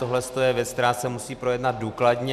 Tohle je věc, která se musí projednat důkladně.